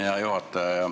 Hea juhataja!